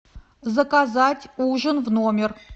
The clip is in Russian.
заказать ужин в номер